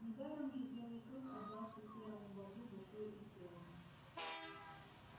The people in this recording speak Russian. недаром же белый клык отдался серому бобру душой и телом